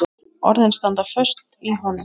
Orðin standa föst í honum.